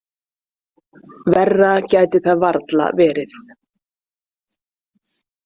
Verra gæti það varla verið.